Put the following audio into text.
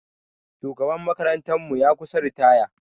Shugaban makarantar mu ya kusa ritaya.